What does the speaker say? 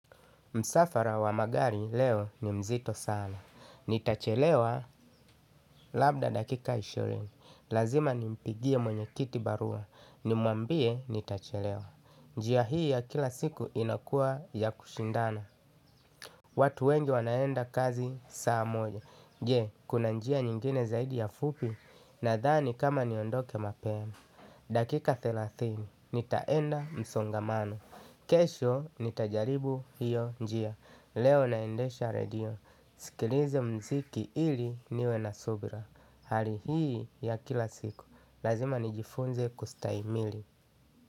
Msafara wa magari leo ni mzito sana. Nitachelewa labda dakika ishirini. Lazima nimpigie mwenye kiti barua. Nimwambie nitachelewa. Njia hii ya kila siku inakua ya kushindana. Watu wengi wanaenda kazi saa moja. Je, kuna njia nyingine zaidi ya fupi nadhani kama niondoke mapema. Dakika thelathini, nitaenda msongamano. Kesho nitajaribu hiyo njia. Leo naendesha redio, sikilize muziki ili niwe na subra. Hali hii ya kila siku lazima nijifunze kustahimili.